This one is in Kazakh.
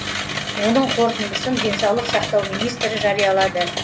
оның қорытындысын денсаулық сақтау министрлігі жариялады